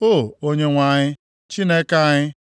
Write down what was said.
O, Onyenwe anyị Chineke anyị,